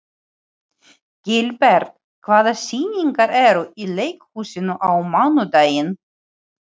Gilbert, hvaða sýningar eru í leikhúsinu á mánudaginn?